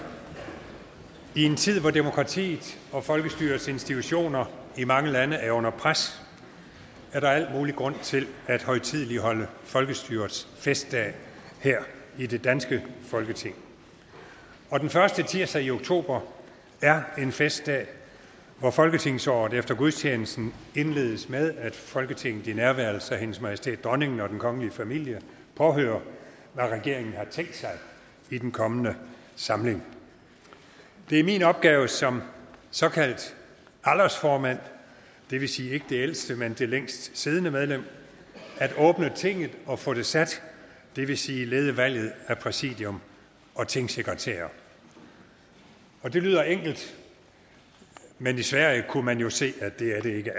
i en tid hvor demokratiet og folkestyrets institutioner i mange lande er under pres er der al mulig grund til at højtideligholde folkestyrets festdag her i det danske folketing den første tirsdag i oktober er en festdag hvor folketingsåret efter gudstjenesten indledes med at folketinget i nærværelse af hendes majestæt dronningen og den kongelige familie påhører hvad regeringen har tænkt sig i den kommende samling det er min opgave som såkaldt aldersformand det vil sige ikke det ældste men det længst siddende medlem at åbne tinget og få det sat det vil sige lede valget af præsidium og tingsekretærer det lyder enkelt men i sverige kunne man jo se at det er det ikke